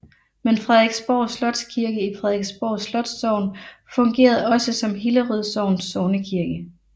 Men Frederiksborg Slotskirke i Frederiksborg Slotssogn fungerede også som Hillerød Sogns sognekirke